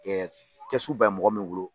kɛsu bɛ mɔgɔ min bolo